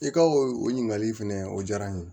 I ka o ɲininkali fɛnɛ o diyara n ye